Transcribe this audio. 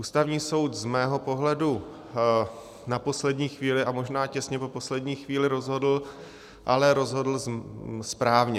Ústavní soud z mého pohledu na poslední chvíli a možná těsně po poslední chvíli rozhodl, ale rozhodl správně.